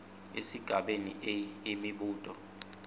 esigabeni a imibuto